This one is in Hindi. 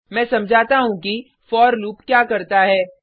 मैं समझाता हूँ कि फोर लूप क्या करता है